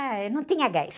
Ah, não tinha gás.